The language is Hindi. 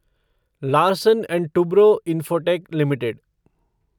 Larsen and Toubro Infotech limited